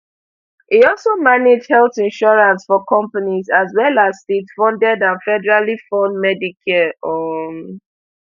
e also manage health insurance for companies as well as statefunded and federally fund medicare um